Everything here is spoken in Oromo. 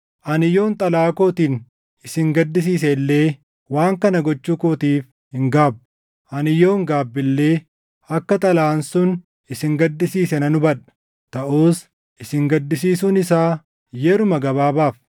Ani yoon xalayaa kootiin isin gaddisiise illee waan kana gochuu kootiif hin gaabbu. Ani yoon gaabbe illee akka xalayaan sun isin gaddisiise nan hubadha; taʼus isin gaddisiisuun isaa yeruma gabaabaaf;